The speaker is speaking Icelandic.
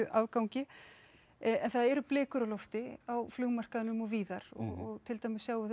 afgangi en það eru blikur á lofti á flugmarkaðnum og víðar og til dæmis sjáum við